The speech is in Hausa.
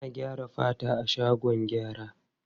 Ana gyara fata a shagon gyara.